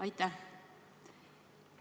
Aitäh!